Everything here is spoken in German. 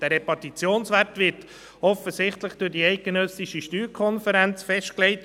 Der Repartitionswert wird offensichtlich durch die Schweizerische Steuerkonferenz (SSK) festgelegt.